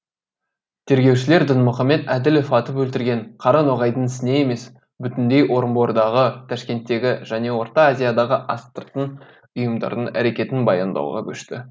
тергеушілер дінмұхамед әділів атып өлтірген қара ноғайдың ісіне емес бүтіндей орынбордағы ташкенттегі және орта азиядағы астыртын ұйымдардың әрекетін баяндауға көшті